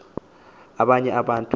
abanye abantu xa